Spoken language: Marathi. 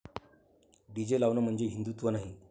डीजे लावणं म्हणजे हिंदुत्व नाही.